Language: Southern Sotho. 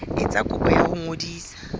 etsa kopo ya ho ngodisa